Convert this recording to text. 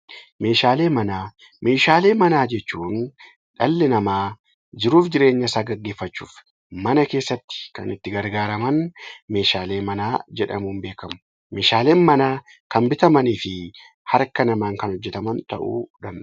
Meeshaalee manaa Meeshaalee manaa jechuun dhalli namaa jiruuf jireenya isaa geggeeffachuuf mana keessatti kan itti gargaaraman 'Meeshaalee manaa' jedhamuun beekamu. Meeshaaleen manaa kan bitamanii fi harka namaan kan hojjetaman ta'uu danda'u.